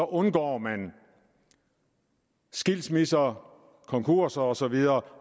undgår man skilsmisser konkurser og så videre